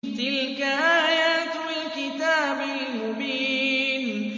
تِلْكَ آيَاتُ الْكِتَابِ الْمُبِينِ